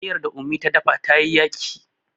miyar da ummi da dafa ta yi yaki